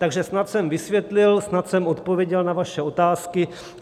Takže snad jsem vysvětlil, snad jsem odpověděl na vaše otázky.